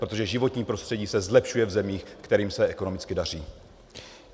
Protože životní prostředí se zlepšuje v zemích, kterým se ekonomicky daří.